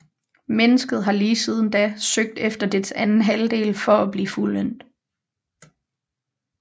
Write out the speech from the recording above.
Mennesket har lige siden da søgt efter dets anden halvdel for at blive fuldendt